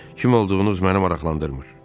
Kim olduğunuz məni maraqlandırmır.